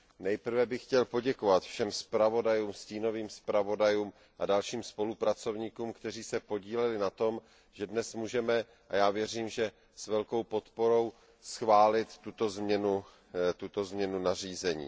Nejprve bych chtěl poděkovat všem zpravodajům, stínovým zpravodajům a dalším spolupracovníkům, kteří se podíleli na tom, že dnes můžeme a já věřím, že s velkou podporou schválit tuto změnu nařízení.